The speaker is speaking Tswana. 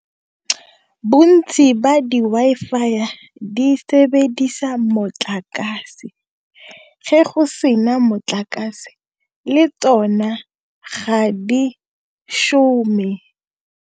Bontsi ba di Wi-Fi di sebedisa motlakase ge go sena motlakase le tsona ga di shome.